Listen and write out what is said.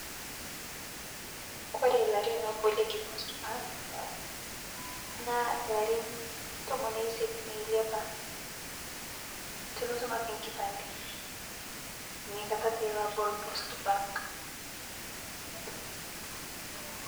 Kore larin obolieki(cs post bank cs), naa larin tomon oisiet meiliapa ,tunutum ake nkipade, niakata taa iloabol (cs post bank cs).